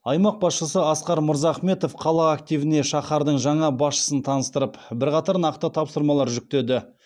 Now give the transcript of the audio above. аймақ басшысы асқар мырзахметов қала активіне шаһардың жаңа басшысын таныстырып бірқатар нақты тапсырмалар жүктеді